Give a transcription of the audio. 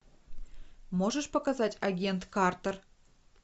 можешь показать агент картер